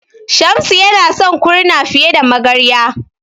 Shamsu yana son Kurna fiye da Magarya.